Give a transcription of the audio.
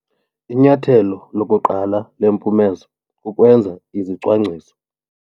Inyathelo lokuqala lempumezo kukwenza izicwangciso.